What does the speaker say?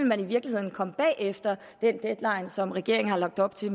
man i virkeligheden komme bagefter den deadline som regeringen har lagt op til